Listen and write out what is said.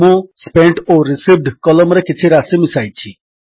ମୁଁ ସ୍ପେଣ୍ଟ ଓ ରିସିଭ୍ଡ କଲମ୍ ରେ କିଛି ରାଶି ମିଶାଇଛି